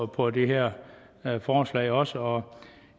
på det her forslag også og